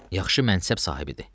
Yaxşı mənsəb sahibidir.